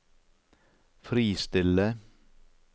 fristille